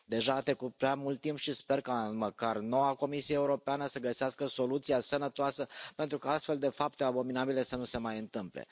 Deja a trecut prea mult timp și sper ca măcar noua Comisie Europeană să găsească soluția sănătoasă pentru ca astfel de fapte abominabile să nu se mai întâmple.